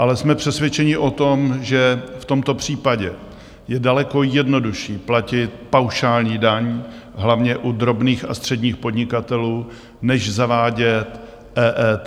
Ale jsme přesvědčeni o tom, že v tomto případě je daleko jednodušší platit paušální daň hlavně u drobných a středních podnikatelů než zavádět EET.